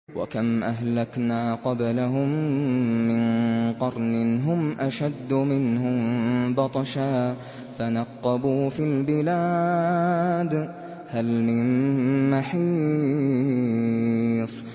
وَكَمْ أَهْلَكْنَا قَبْلَهُم مِّن قَرْنٍ هُمْ أَشَدُّ مِنْهُم بَطْشًا فَنَقَّبُوا فِي الْبِلَادِ هَلْ مِن مَّحِيصٍ